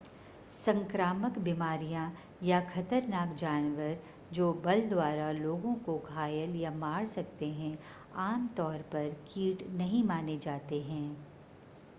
संक्रामक बीमारियां या खतरनाक जानवर जो बल द्वारा लोगों को घायल या मार सकते हैं आमतौर पर कीट नहीं माने जाते हैं